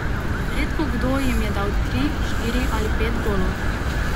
Redko kdo jim je dal tri, štiri ali pet golov.